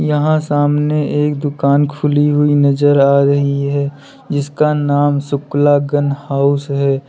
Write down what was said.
यहां सामने एक दुकान खुली हुई नजर आ रही है जिसका नाम शुक्ला गन हाउस है।